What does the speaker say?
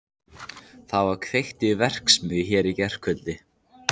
Það var kveikt í verksmiðju hér í gærkvöldi.